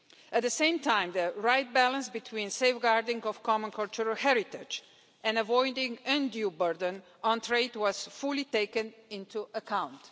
At the same time, the right balance between safeguarding of common cultural heritage and avoiding undue burden on trade was fully taken into account.